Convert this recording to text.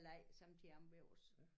Leg som de har hjemme os